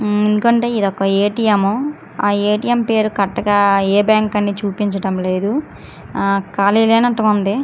ఎందుకంటే ఇదొక ఏ--టీ--ఎం ఆ ఏ--టీ--ఎం పేరు కరెక్ట్ గా ఏ బ్యాంక్ అనేది చూపించడం లేదు ఖాళీగానే ఉన్నట్టుగా ఉంది.